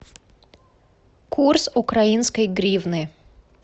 курс украинской гривны